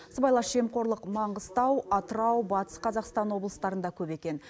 сыбайлас жемқорлық маңғыстау атырау батыс қазақстан облыстарында көп екен